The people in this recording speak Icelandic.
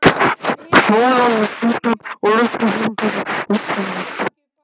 Hljóðaði sveinninn og lyfti höndinni að skímunni.